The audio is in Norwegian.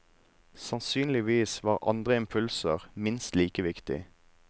Sannsynligvis var andre impulser minst like viktige.